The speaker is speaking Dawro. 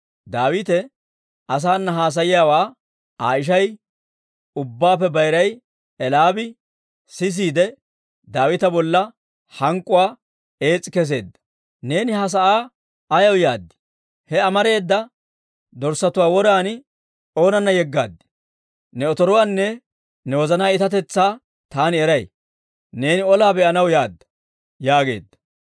Daawite asaana haasayiyaawaa Aa ishay ubbaappe bayiray Eli'aabi sisiide, Daawita bolla hank'k'uwaa ees's'i kesseedda; «Neeni ha sa'aa ayaw yaad? He amareeda dorssatuwaa woran oonana yeggaad? Ne otoruwaanne ne wozanaa itatetsaa taani eray; neeni olaa be'anaw yaadda» yaageedda.